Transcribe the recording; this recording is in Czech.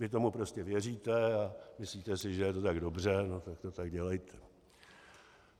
Vy tomu prostě věříte a myslíte si, že je to tak dobře, no tak to tak dělejte.